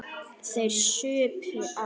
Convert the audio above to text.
Þeir supu á.